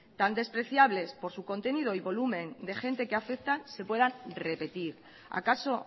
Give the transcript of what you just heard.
tan despreciables por su contenido y volumen de gente que afectan se puedan repetir acaso